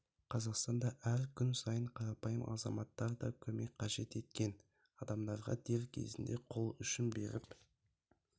қазақстанда әр күн сайын қарапайым азаматтар да көмек қажет еткен адамдарға дер кезінде қол ұшын беріп